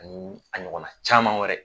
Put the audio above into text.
Ani a ɲɔgɔnna caman wɛrɛ